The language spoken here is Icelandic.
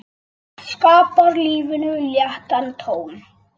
Það skapar lífinu léttan tón.